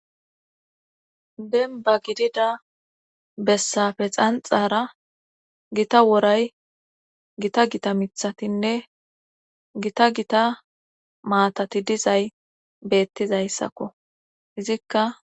Demba gidida bessafe xanxara gita woray gita gita mithatinne gita gita maatati dizay beettizayssakko izikka.